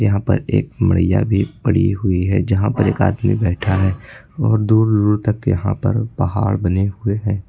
यहां पर एक मड़िया भी पड़ी हुई है जहां पर एक आदमी बैठा है और दूर दूर तक के यहां पर पहाड़ बने हुए हैं।